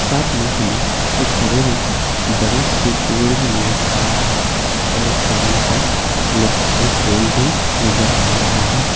साथ में हमें एक हरे रंग का बड़े से पेड़ भी नजर आ रहा है और एक करेंट का इलेक्ट्रिकल पोल भी नजर आ रहा है।